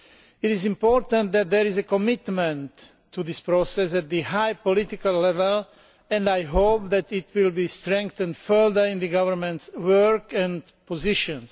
It is important that there is a commitment to this process at high political level and I hope that it will be strengthened further in the government's work and positions.